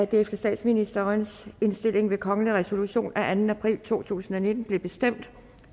det efter statsministerens indstilling ved kongelig resolution af anden april to tusind og nitten blev bestemt